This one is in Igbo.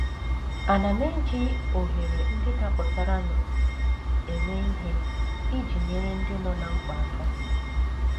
Àna m eji ohere ndị dapụtaranụ eme ihe iji nyere ndị nọ ná mkpa aka?